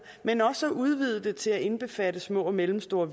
men også ved at udvide det til at indbefatte små og mellemstore